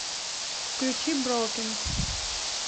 включи броукен